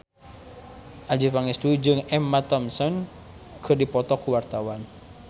Adjie Pangestu jeung Emma Thompson keur dipoto ku wartawan